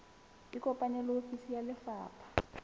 ikopanye le ofisi ya lefapha